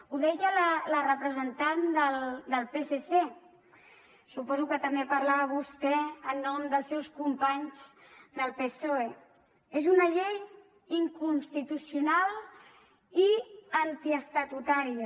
ho deia la representant del psc suposo que també parlava vostè en nom dels seus companys del psoe és una llei inconstitucional i antiestatutària